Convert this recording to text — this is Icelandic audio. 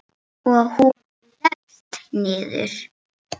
Og hún leggst niður.